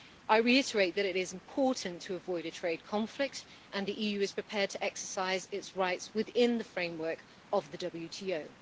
I reiterate that it is important to avoid a trade conflict, and the EU is prepared to exercise its rights within the framework of the WTO.